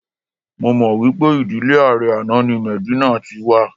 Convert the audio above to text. Mo mọ̀ pé ìdílé ààrẹ àná ni Medina ti wa